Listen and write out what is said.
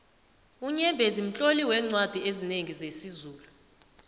unyembezi mtloli weencwadi ezinengi zesizulu